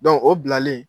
o bilalen